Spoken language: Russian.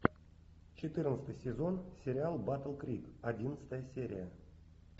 четырнадцатый сезон сериал батл крик одиннадцатая серия